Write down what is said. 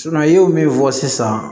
i ye min fɔ sisan